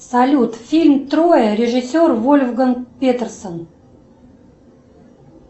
салют фильм троя режиссер вольфганг петерсон